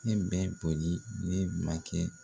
Ne bɛ boli ne bilan kɛ